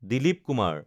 Dilip Kumar